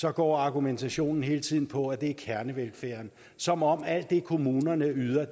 er går argumentationen hele tiden på at det er på kernevelfærden som om at alt det kommunerne yder er